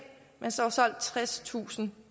mens der var solgt tredstusind